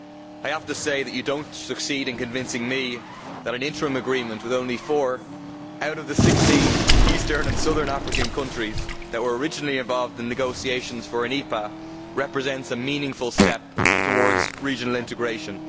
I have to say that you do not succeed in convincing me that an interim agreement with only four out of the sixteen eastern and southern African countries that were originally involved in negotiations for an EPA represents a meaningful step towards regional integration.